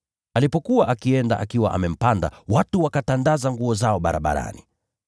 Alipokuwa akienda akiwa amempanda, watu wakatandaza mavazi yao barabarani.